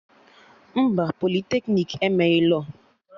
Mba, politeknik emeghị lọọ